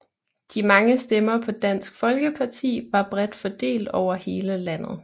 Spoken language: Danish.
De mange stemmer på Dansk Folkeparti var bredt fordelt over hele landet